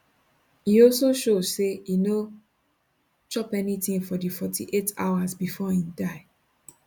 e also show say e no chop anytin for di 48 hours bifor im die